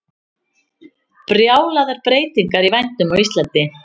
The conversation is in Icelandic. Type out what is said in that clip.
Brjálaðar breytingar í vændum á Íslandi